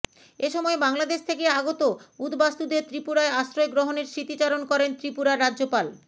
এ সময় বাংলাদেশ থেকে আগত উদ্বাস্তুদের ত্রিপুরায় আশ্রয় গ্রহণের স্মৃতিচারণ করেন ত্রিপুরার রাজ্যপাল